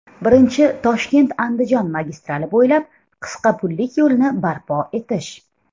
Birinchi, ToshkentAndijon magistrali bo‘ylab qisqa pullik yo‘lni barpo etish.